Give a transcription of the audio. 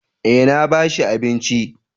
Eh na ba shi abinci